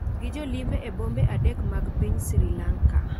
gi jolimbe e bombe adek mag piny Sri Lanka,